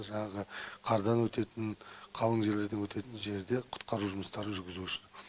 жаңағы қардан өтетін қалың жерлерде өтетін жерде құтқару жұмыстарын жүргізу үшін